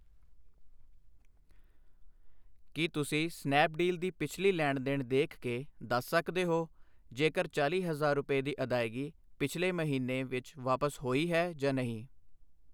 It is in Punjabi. ਕਿ ਤੁਸੀਂਂ ਸਨੈਪਡੀਲ ਦੀ ਪਿਛਲੀ ਲੈਣ ਦੇਣ ਦੇਖ ਕੇ ਦੱਸ ਸਕਦੇ ਹੋ ਜੇਕਰ ਚਾਲ੍ਹੀ ਹਜ਼ਾਰ ਰੁਪਏ ਦੀ ਅਦਾਇਗੀ ਪਿਛਲੇ ਆਖਰੀ ਮਹੀਨਾ ਵਿੱਚ ਵਾਪਸ ਹੋਈ ਹੈ ਜਾਂ ਨਹੀਂ ?